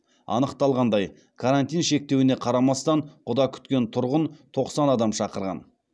анықталғандай карантин шектеуіне қарамастан құда күткен тұрғын тоқсан адам шақырған